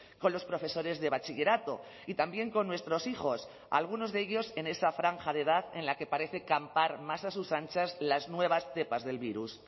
con los profesores de bachillerato y también con nuestros hijos algunos de ellos en esa franja de edad en la que parece campar más a sus anchas las nuevas cepas del virus